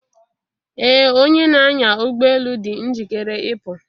Ee Onye n'anya ụgbọ elu dị njikere ịpụ.